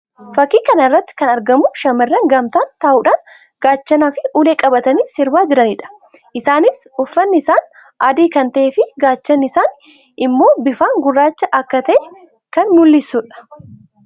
Fakkii kana irratti kan argamu shamarran gamtaan ta'uudhaan gaachanaa fi ulèe qabatanii sirbaa jiranii dha. Isaannis uffanni isaanii adii kan ta'ee fi gaachanni isaanii immoo bifaan gurraacha akka ta'e kan mul'isuu dha.